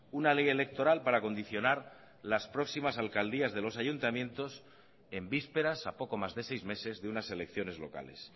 una ley electoral para condicionar las próximas alcaldías de los ayuntamientos en vísperas a poco más de seis meses de unas elecciones locales